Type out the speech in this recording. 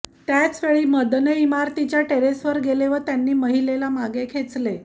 त्याचवेळी मदने इमारतीच्या टेरेसवर गेले व त्यांनी महिलेला मागे खेचले